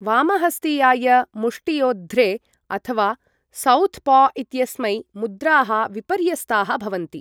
वामहस्तीयाय मुष्टियोद्ध्रे अथवा southpaw इत्यस्मै, मुद्राः विपर्यस्ताः भवन्ति।